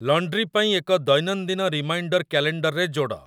laundry ପାଇଁ ଏକ ଦୈନନ୍ଦିନ ରିମାଇଣ୍ଡର କ୍ୟାଲେଣ୍ଡରରେ ଯୋଡ଼